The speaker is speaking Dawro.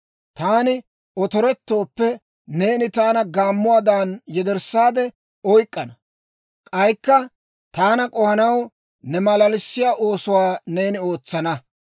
Taani otorettooppe, neeni taana gaammuwaadan yederssaade oyk'k'ana; k'aykka taana k'ohanaw, ne malalissiyaa oosuwaa neeni ootsana.